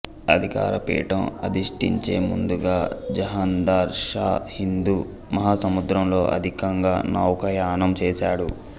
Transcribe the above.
అధికారపీఠం అధిష్ఠించే ముందుగా జహందర్ షా హిందూ మాహాసముద్రంలో అధికంగా నౌకాయానం చేసాడు